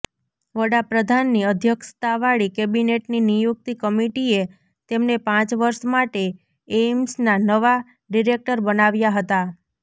વડાપ્રધાનની અધ્યક્ષતાવાળી કેબિનેટની નિયુક્તિ કમિટિએ તેમને પાંચ વર્ષ માટે એઈમ્સના નવા ડિરેક્ટર બનાવ્યાં હતા